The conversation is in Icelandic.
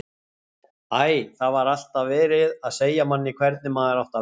Æ, það var alltaf verið að segja manni hvernig maður átti að vera.